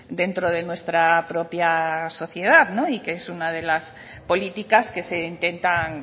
dentro de nuestra propia sociedad y que es una de las políticas que se intentan